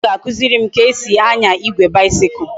Nna m ga akuziri m ka esi anya igwe bicycle